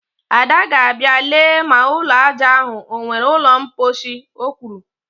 Ada ga-abịa lee ma ụlọ aja ahụ o nwere ụlọ mkposhi, o kwuru